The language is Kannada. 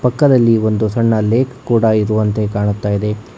ಪಕ್ಕದಲ್ಲಿ ಒಂದು ಸಣ್ಣ ಲೇಕ್ ಕೂಡ ಇರುವಂತೆ ಕಾಣುತ್ತಾಯಿದೆ.